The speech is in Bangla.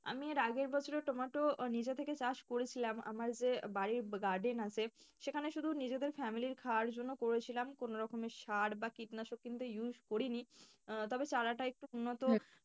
আমি এর আগের বছর নিচে টমেটো নিজ থেকে চাষ করেছিলাম আমার যে বাড়ির garden আছে সেখানে শুধু নিজেদের family র খাবার জন্য করেছিলাম কোনো রকমের সার বা কীটনাশক কিন্তু use করিনি আহ তবে চারাটা একটু উন্নত,